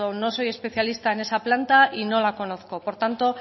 no soy especialista en esa planta y no la conozco por tanto